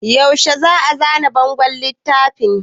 Yaushe za a zana bangon littafin?